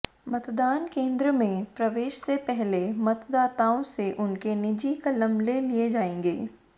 मतदान केंद्र में प्रवेश से पहले मतदाताओं से उनके निजी कलम ले लिए जाएंगे